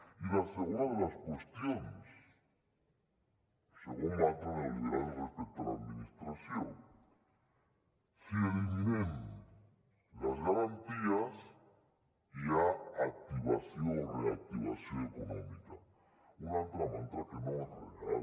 i la segona de les qüestions segon mantra neoliberal respecte a l’administració si eliminem les garanties hi ha activació o reactivació econòmica un altre mantra que no és real